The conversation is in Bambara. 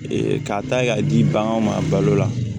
k'a ta k'a di baganw ma balo la